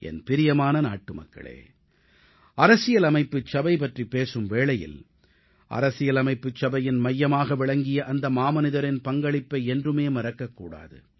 என் பிரியமான நாட்டுமக்களே அரசியலமைப்புச் சபை பற்றிப் பேசும் வேளையில் அரசியலமைப்பு சபையின் மையமாக விளங்கிய அந்த மாமனிதரின் பங்களிப்பை என்றுமே மறக்க கூடாது